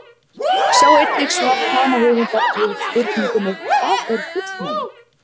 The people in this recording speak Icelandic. Sjá einnig svar sama höfundar við spurningunni Hvað er fullnæging?